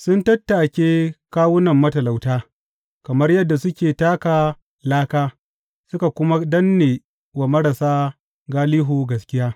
Sun tattake kawunan matalauta kamar yadda suke taka laka suka kuma danne wa marasa galihu gaskiya.